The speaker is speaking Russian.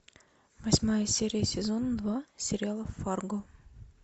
восьмая серия сезона два сериала фарго